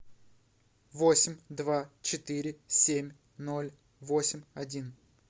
восемь два четыре семь ноль восемь один